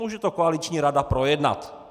Může to koaliční rada projednat.